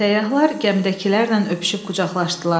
Səyyahlar gəmidəkilərlə öpüşüb qucaqlaşdılar.